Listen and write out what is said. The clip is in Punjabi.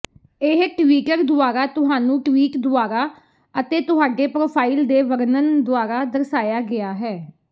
ਇਹ ਟਵੀਟਰ ਦੁਆਰਾ ਤੁਹਾਨੂੰ ਟਵੀਟ ਦੁਆਰਾ ਅਤੇ ਤੁਹਾਡੇ ਪ੍ਰੋਫਾਈਲ ਦੇ ਵਰਣਨ ਦੁਆਰਾ ਦਰਸਾਇਆ ਗਿਆ ਹੈ